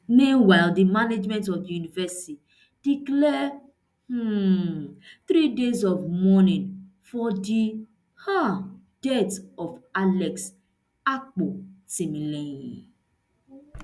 meanwhile di management of di university declare um three days mourning for di um death of alex akpo timilehin